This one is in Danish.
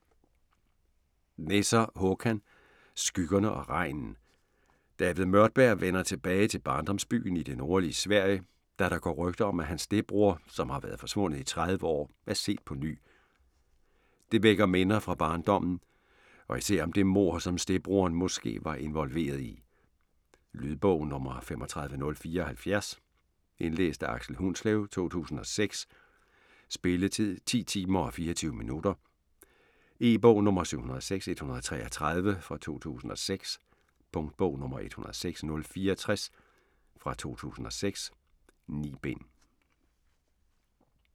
Nesser, Håkan: Skyggerne og regnen David Mörtberg vender tilbage til barndomsbyen i det nordlige Sverige, da der går rygter om at hans stedbroder, som har været forsvundet i 30 år er set på ny. Det vækker minder fra barndommen, og især om det mord, som stedbroderen måske var involveret i. Lydbog 35074 Indlæst af Aksel Hundslev, 2006. Spilletid: 10 timer, 24 minutter. E-bog 706133 2006. Punktbog 106064 2006. 9 bind.